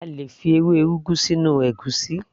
A lè fi ewé ugu sínú ègúsí